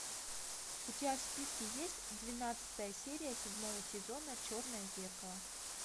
у тебя в списке есть двенадцатая серия седьмого сезона черное зеркало